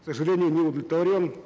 к сожалению не удовлетворен